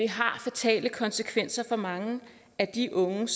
har fatale konsekvenser for mange af de unge